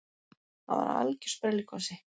Hann var algjör sprelligosi.